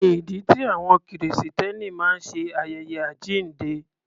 Kí ni ìdí tí àwọn Kìrìsìtẹ́nì máa ń ṣe ayẹyẹ àjíǹde?